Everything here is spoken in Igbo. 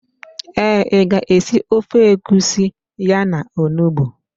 Ee, ị ga-esi ofe egusi ya na onugbu.